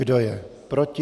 Kdo je proti?